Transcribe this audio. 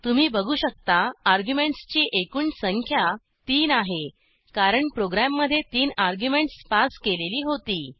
तुम्ही बघू शकता अर्ग्युमेंटसची एकूण संख्या 3आहे कारण प्रोग्रॅममधे 3 अर्ग्युमेंटस पास केलेली होती